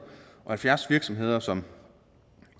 og halvfjerds virksomheder som